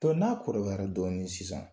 Dɔ n'a kɔrɔbayara dɔɔnin sisan